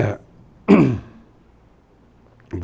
É.